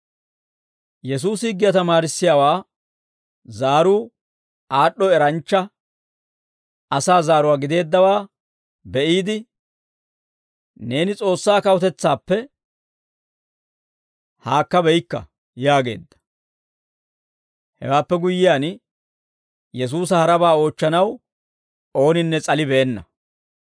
Yesuusi higgiyaa tamaarissiyaawaa zaaruu aad'd'o eranchcha asaa zaaruwaa gideeddawaa be'iide, «Neeni S'oossaa kawutetsaappe haakkabeykka» yaageedda; hewaappe guyyiyaan, Yesuusa harabaa oochchanaw ooninne s'alibeenna.